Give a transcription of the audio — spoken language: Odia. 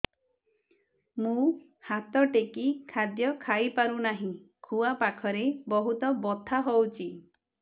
ମୁ ହାତ ଟେକି ଖାଦ୍ୟ ଖାଇପାରୁନାହିଁ ଖୁଆ ପାଖରେ ବହୁତ ବଥା ହଉଚି